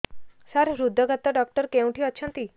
ସାର ହୃଦଘାତ ଡକ୍ଟର କେଉଁଠି ଅଛନ୍ତି